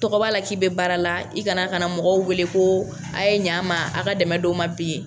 Tɔgɔ b'a la k'i bɛ baara la i kana kana mɔgɔw wele ko a' ye ɲa n ma a' ka dɛmɛ dɔ n ma bi.